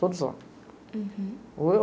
Todos lá. Hurum.